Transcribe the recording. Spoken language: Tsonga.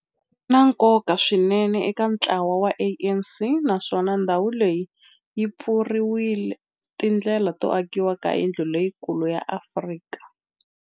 Ri na nkoka swinene eka ntlawa wa ANC, naswona ndhawu leyi yi pfurile tindlela to akiwa ka yindlu leyikulu ya Afrika.